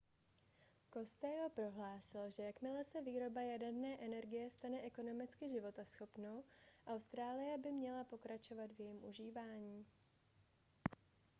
costello prohlásil že jakmile se výroba jaderné energie stane ekonomicky životaschopnou austrálie by měla pokračovat v jejím využívání